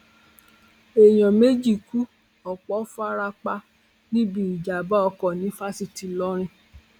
èèyàn méjì ku ọpọ fara pa níbi ìjàmbá ọkọ ní fásitì ìlọrin